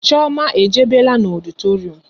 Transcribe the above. Chioma e jebela n'ọditorium